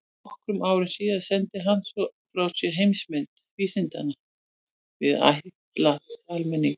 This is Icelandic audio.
Nokkrum árum síðar sendi hann svo frá sér Heimsmynd vísindanna, rit ætlað almenningi.